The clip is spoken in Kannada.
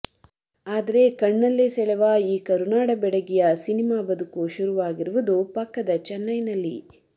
ಆದರೆ ಕಣ್ಣಲ್ಲೇ ಸೆಳೆವ ಈ ಕರುನಾಡ ಬೆಡಗಿಯ ಸಿನಿಮಾ ಬದುಕು ಶುರುವಾಗಿರುವುದು ಪಕ್ಕದ ಚೆನ್ನೈನಲ್ಲಿ